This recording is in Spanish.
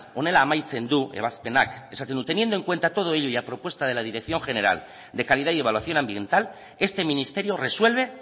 honela amaitzen du ebazpenak esaten du teniendo en cuenta todo ello y a propuesta de la dirección general de calidad y evaluación ambiental este ministerio resuelve